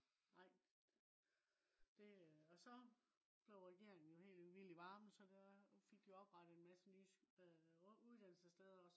nej det også blev regeringen jo helt vild i varmen så der fik jo oprettet en masse nye øh uddannelsessteder